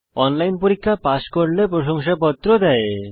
online পরীক্ষা pass করলে প্রশংসাপত্র দেয়